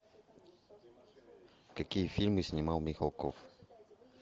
какие фильмы снимал михалков